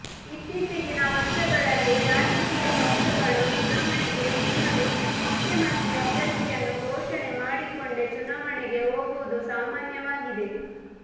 ಇತ್ತೀಚೆಗಿನ ವರ್ಷಗಳಲ್ಲಿ ರಾಜಕೀಯ ಪಕ್ಷಗಳು ಚುನಾವಣೆಗೆ ಮುನ್ನವೇ ಮುಖ್ಯಮಂತ್ರಿ ಅಭ್ಯರ್ಥಿಯನ್ನು ಘೋಷಣೆ ಮಾಡಿಕೊಂಡೇ ಚುನಾವಣೆಗೆ ಹೋಗುವುದು ಸಾಮಾನ್ಯವಾಗಿದೆ